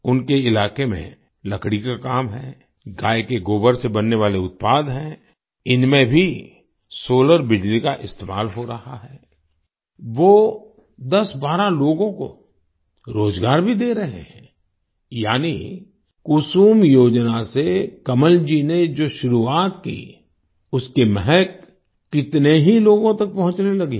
उनके इलाके में लकड़ी का काम है गाय के गोबर से बनने वाले उत्पाद हैं इनमें भी सोलर बिजली का इस्तेमाल हो रहा है वो 1012 लोगों को रोजगार भी दे रहे हैं यानी कुसुम योजना से कमलजी ने जो शुरुआत की उसकी महक कितने ही लोगों तक पहुँचने लगी है